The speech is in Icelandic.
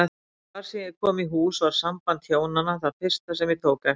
Hvar sem ég kom í hús var samband hjónanna það fyrsta sem ég tók eftir.